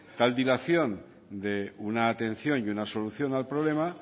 tal dilación de una atención y una solución al problema